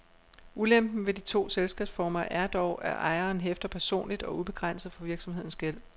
Ulempen ved de to selskabsformer er dog, at ejeren hæfter personligt og ubegrænset for virksomhedens gæld.